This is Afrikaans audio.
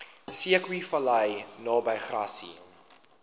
zeekoevlei naby grassy